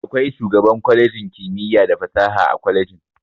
Akwai shugaban kwalejin kimiyya da fasaha a kwalejin.